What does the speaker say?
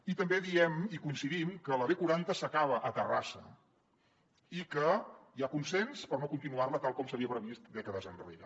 i també diem i coincidim amb que la b quaranta s’acaba a terrassa i que hi ha consens per no continuar la tal com s’havia previst dècades enrere